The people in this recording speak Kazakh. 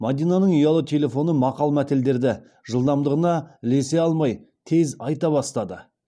мадинаның ұялы телефоны мақал мәтелдерді жылдамдығына ілесе алмай тез айта бастады